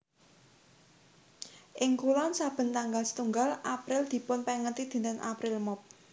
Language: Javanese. Ing kulon saben tanggal setunggal April dipun pengeti dinten April Mop